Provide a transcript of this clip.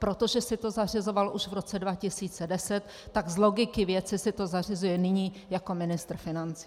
Protože si to zařizoval už v roce 2010, tak z logiky věci si to zařizuje nyní jako ministr financí.